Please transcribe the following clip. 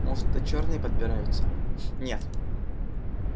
может это чёрные подбираются нет